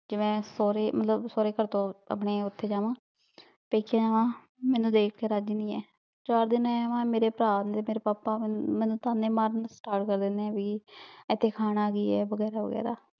ਕੀ ਮੈਂ ਸੋਰੇ ਮਤਲਬ ਸੋਰੇ ਘਰ ਤੋਂ ਅਪਨੇ ਓਥੇ ਜਾਵਾਂ ਪੇਕੇ ਆਵਾਂ ਮੇਨੂ ਦੇਖ ਕੇ ਰਾਜ਼ੀ ਨਹੀਂ ਹੈ ਚਾਰ ਦਿਨ ਰਹ ਆਵਾਂ ਮੇਰੇ ਪਰਾ ਤਾਂ ਮੇਰੇ ਪਾਪਾ ਮੇਨੂ ਤਾਨੇ ਮਾਰਨੇ start ਕਰ ਦੇਂਦਨੇ ਭਾਈ ਇਥੇ ਖਾਣਾ ਭੀ ਹੈ ਵਗੇਹਰਾ ਵਗੇਹਰਾ